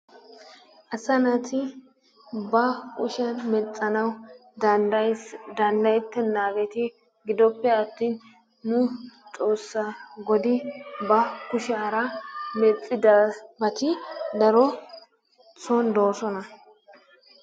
Asa naati ba kushiyan mexxanawu daddayieesi danddayettenaageeti giddoppe atin nu Xoossaa godi ba kushiyaara mexidabati daro soon doosona.